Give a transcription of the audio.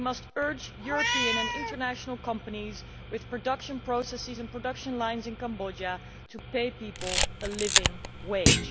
We must urge European and international companies with production processes and production lines in Cambodia to pay people a living wage.